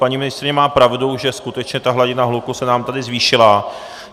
Paní ministryně má pravdu, že skutečně ta hladina hluku se nám tady zvýšila.